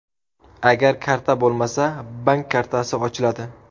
Agar karta bo‘lmasa, bank kartasi ochiladi.